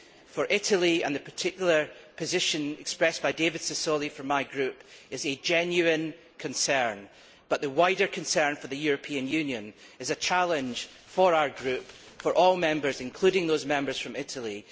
For Italy, and the particular position expressed by David Sassoli from my group, this is a genuine concern but the wider concern for the European Union is a challenge for our group for all Members, including those Members from Italy.